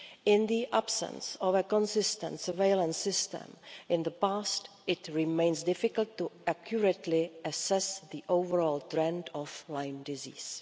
In the absence of a consistent surveillance system in the past, it remains difficult to accurately assess the overall trend of Lyme disease.